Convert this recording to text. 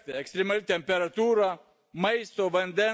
maisto, vandens bei poilsio stoka.